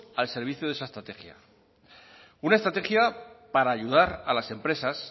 al servicio de esa estrategia una estrategia para ayudar a las empresas